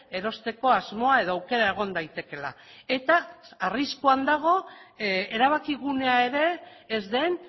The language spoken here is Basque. erosteko asmoa edo aukera egon daitekeela eta arriskuan dago erabakigunea ere ez den